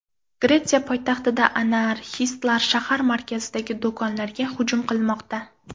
Gretsiya poytaxtida anarxistlar shahar markazidagi do‘konlarga hujum qilmoqda.